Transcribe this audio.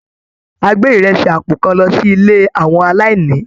A gbé ìrẹsì àpò kan lọ sí ilé àwọn aláìní.